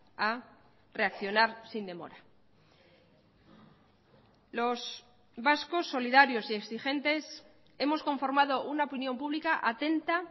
a reaccionar sin demora los vascos solidarios y exigentes hemos conformado una opinión pública atenta